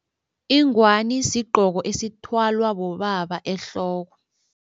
Ingwani sigqoko esithwalwa bobaba ehloko.